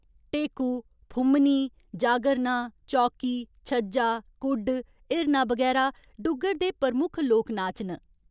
ढेकू, फु'म्मनी, जागरणा, चौकी, छज्जा, कुड्ड, हिरणा बगैरा डुग्गर दे प्रमुख लोक नाच न।